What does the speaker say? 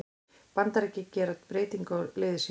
Bandaríkin gera breytingu á liði sínu